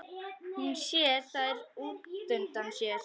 Hún sér þær útundan sér.